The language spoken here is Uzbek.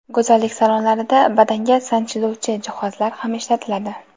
go‘zallik salonlarida badanga sanchiluvchi jihozlar ham ishlatiladi.